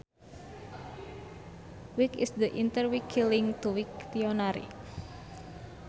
Wikt is the interwiki link to Wiktionary